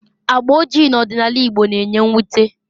Agba ojii n'ọdịnala Igbo na-enye mwute